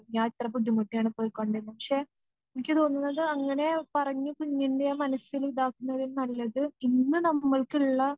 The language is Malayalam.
ഞാൻ ഇത്ര ബുദ്ധിമുട്ടിയാണ് പൊയ്‌ക്കൊണ്ടിരുന്നത് പക്ഷേ എനിക്ക് തോന്നുന്നത് അങ്ങനെ പറഞ്ഞു കുഞ്ഞിൻ്റെ ആ മനസ്സില് ഇതാക്കുന്നതിലും നല്ലത് ഇന്ന് നമ്മൾക്കിള്ള